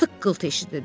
Tıqqıltı eşidildi.